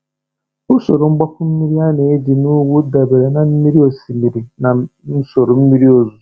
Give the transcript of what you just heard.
Usoro mgbapu mmiri a na-eji na ugwu dabere na mmiri osimiri na usoro mmiri ozuzo.